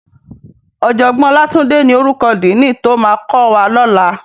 Òjògbòn Olatunde ni órúkò dìní tó má kòwá lòlá